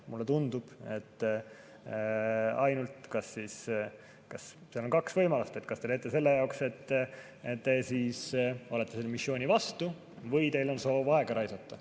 Mulle tundub, et seal on ainult kaks võimalust: kas teete sellepärast, et te olete selle missiooni vastu, või teil on soov aega raisata.